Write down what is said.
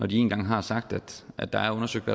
de en gang har sagt at der er undersøgt